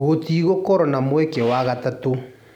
Gũtigũkorwo na mweke wa gatatũ."